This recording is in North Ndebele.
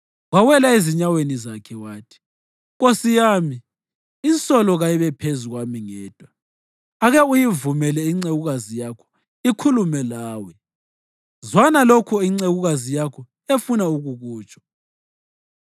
Wawela ezinyaweni zakhe wathi, “Nkosi yami, insolo kayibe phezu kwami ngedwa. Ake uyivumele incekukazi yakho ikhulume lawe; zwana lokho incekukazi yakho efuna ukukutsho.